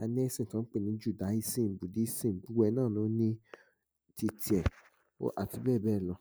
a lésìn tí wó̩n pè ní Judáísìm, Ibísìm, gbogbo è̩ náà ló ní ti tiè̩, àti bé̩è̩ bé̩è̩ lo̩.